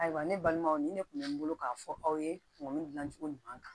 Ayiwa ne balimaw ni ne kun bɛ n bolo k'a fɔ aw ye dilancogo ɲuman kan